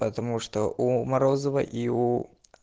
потому что у морозова и уу